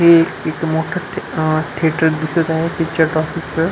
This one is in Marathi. हे इथ मोठ थ थिएटर दिसत आहे पिक्चर टॉकीजच --